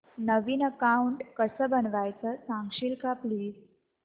नवीन account कसं बनवायचं सांगशील का प्लीज